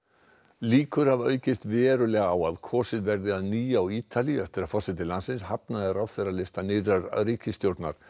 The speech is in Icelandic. líkur hafa aukist verulega á að kosið verði að nýju á Ítalíu eftir að forseti landsins hafnaði ráðherralista nýrrar ríkisstjórnar